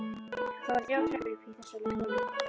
Það voru þrjár tröppur upp í þessa litlu holu.